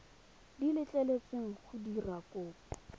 di letleletsweng go dira kopo